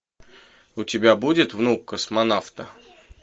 у тебя будет внук космонавта